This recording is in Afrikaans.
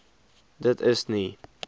dit is nie